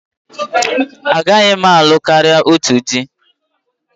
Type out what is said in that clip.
Agaghị m alụ karịa otù di.